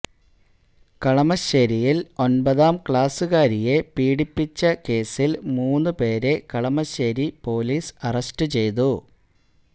കളമശ്ശേരിയിൽ ഒൻപതാം ക്ലാസ്സുകാരിയെ പീഡിപ്പിച്ച കേസ്സിൽ മൂന്ന് പേരെ കളമശ്ശേരി പൊലീസ് അറസ്റ്റ് ചെയ്തു